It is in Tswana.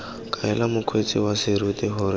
kaela mokgweetsi wa serori gore